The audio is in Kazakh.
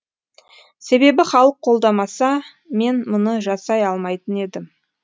себебі халық қолдамаса мен мұны жасай алмайтын едім